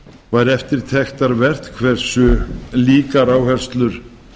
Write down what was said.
var eftirtektarvert hversu líkar áherslur